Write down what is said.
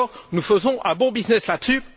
Nous faisons un bon business là dessus.